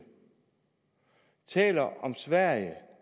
taler om sverige